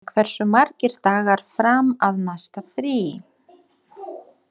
Mói, hversu margir dagar fram að næsta fríi?